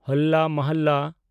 ᱦᱚᱞᱞᱟ ᱢᱚᱦᱚᱞᱞᱟ